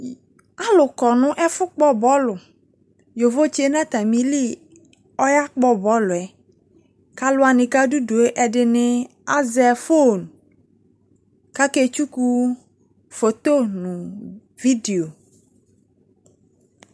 Alu kɔ no ɛfo kpɔ bɔlu Yovotse no atame li aya kpɔ bɔluɛ, ko alu wane ko ado due ɛdene azɛ fon kake tsuku foto no video